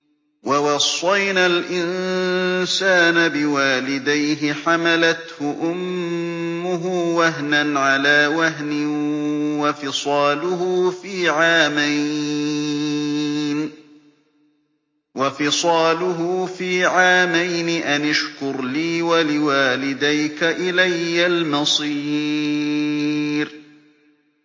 وَوَصَّيْنَا الْإِنسَانَ بِوَالِدَيْهِ حَمَلَتْهُ أُمُّهُ وَهْنًا عَلَىٰ وَهْنٍ وَفِصَالُهُ فِي عَامَيْنِ أَنِ اشْكُرْ لِي وَلِوَالِدَيْكَ إِلَيَّ الْمَصِيرُ